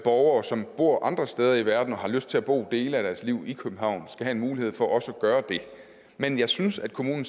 borgere som bor andre steder i verden og har lyst til at bo en del af deres liv i københavn skal have mulighed for også at gøre det men jeg synes at kommunen